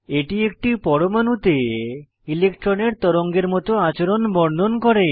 এটি একটি পরমাণুতে ইলেকট্রনের তরঙ্গের মত আচরণ বর্ণন করে